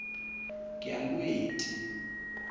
yalweti